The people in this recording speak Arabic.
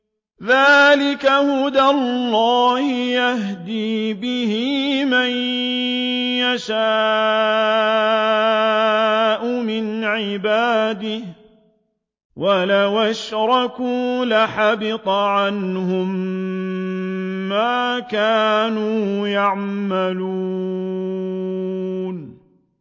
ذَٰلِكَ هُدَى اللَّهِ يَهْدِي بِهِ مَن يَشَاءُ مِنْ عِبَادِهِ ۚ وَلَوْ أَشْرَكُوا لَحَبِطَ عَنْهُم مَّا كَانُوا يَعْمَلُونَ